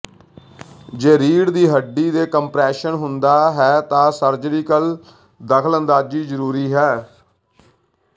ਜੇ ਰੀੜ੍ਹ ਦੀ ਹੱਡੀ ਦੇ ਕੰਪਰੈਸ਼ਨ ਹੁੰਦਾ ਹੈ ਤਾਂ ਸਰਜੀਕਲ ਦਖਲਅੰਦਾਜ਼ੀ ਜ਼ਰੂਰੀ ਹੈ